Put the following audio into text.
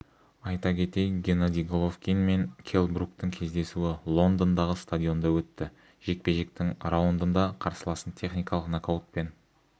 айта кетейік геннадий головкин мен келл бруктің кездесуі лондондағы стадионында өтті жекпе-жектің раундында қарсыласын техникалық нокаутпен